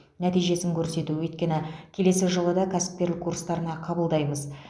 нәтижесін көрсету өйткені келесі жылы да кәсіпкерлік курстарына қабылдаймыз